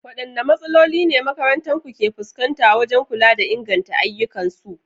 Wadanne matsaloli ne makarantu ke fuskanta wajen kula da inganta ayyukansu?